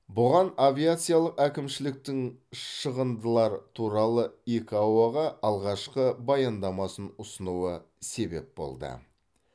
бұған авиациялық әкімшіліктің шығындылар туралы икао ға алғашқы баяндамасын ұсынуы себеп болды